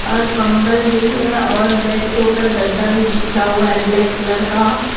और कंबल भी है और बेड के ऊपर गद्दा भी बिछा हुआ है ब्लैक कलर का।